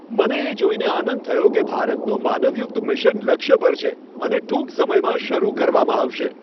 મને એ જોઈને આનંદ થયો કે ભારતનું માનવયુક્ત મિશન લક્ષ્ય પર છે અને ટૂંક સમયમાં શરૂ કરવામાં આવશે.